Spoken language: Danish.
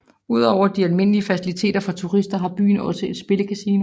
Ud over de almindelige faciliteter for turister har byen også et spillecasino